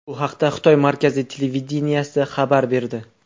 Bu haqda Xitoy markaziy televideniyesi xabar berdi .